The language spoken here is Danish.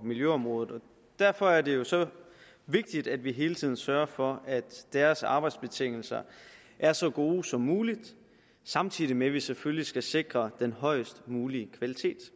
og miljøområdet og derfor er det jo vigtigt at vi hele tiden sørger for at deres arbejdsbetingelser er så gode som muligt samtidig med at vi selvfølgelig skal sikre den højst mulige kvalitet